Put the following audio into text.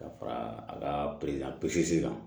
Ka fara a kari a pisisi kan